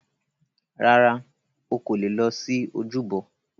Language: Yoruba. Rárá,o kò leè lọ sí ojúbọ.